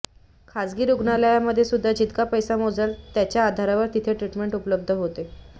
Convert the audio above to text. खाजगी रुग्णालयांमध्येसुध्दा जितका पैसा मोजाल त्याच्या आधारावर तिथे ट्रीटमेंट उपलब्ध होते